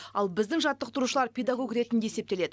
ал біздің жаттықтырушылар педагог ретінде есептеледі